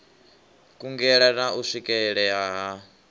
kungela na u swikelea ha